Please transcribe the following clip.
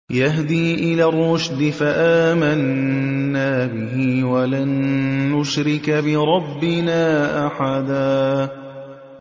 يَهْدِي إِلَى الرُّشْدِ فَآمَنَّا بِهِ ۖ وَلَن نُّشْرِكَ بِرَبِّنَا أَحَدًا